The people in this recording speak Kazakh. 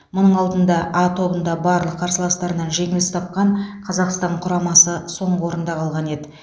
мұның алдында а тобында барлық қарсыластарынан жеңіліс тапқан қазақстан құрамасы соңғы орында қалған еді